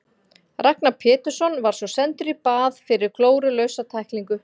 Ragnar Pétursson var svo sendur í bað fyrir glórulausa tæklingu.